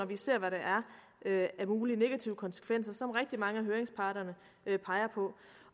vi ser hvad der er af mulige negative konsekvenser som rigtig mange af høringsparterne peger på